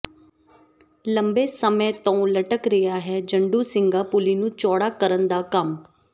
ਲੰਬੇ ਸਮੇ ਤੋਂ ਲਟਕ ਰਿਹਾ ਹੈ ਜੰਡੂ ਸਿੰਘਾ ਪੁਲੀ ਨੂੰ ਚੌੜਾ ਕਰਨ ਦਾ ਕੰਮ